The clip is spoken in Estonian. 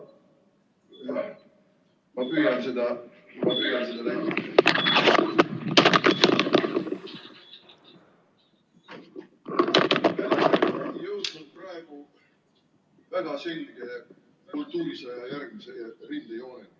Ma püüan seda ...... jõudnud praegu väga selge kultuurisõja järgmise rindejooneni.